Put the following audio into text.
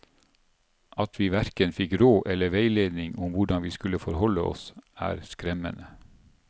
At vi hverken fikk råd eller veiledning om hvordan vi skulle forholde oss, er skremmende.